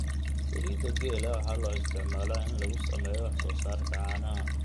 Saliidda geela waxaa loo isticmaalaa in lagu sameeyo wax soo saarka caanaha.